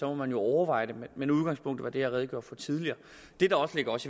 må man jo overveje det men udgangspunktet er det som jeg redegjorde for tidligere det der også ligger os